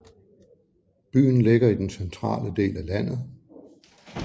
Byen ligger i den centrale del af landet